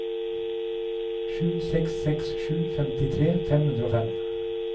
sju seks seks sju femtitre fem hundre og fem